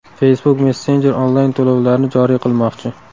Facebook Messenger onlayn-to‘lovlarni joriy qilmoqchi.